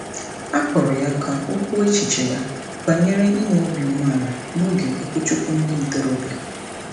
A kpọrọ ya ka o o kwuo echiche ya banyere inwe obi umeala n'oge okwuchukwu ndị ntorobịa.